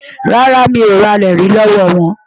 Rárá, mi ò ralẹ̀ rí lọ́wọ́ wọn.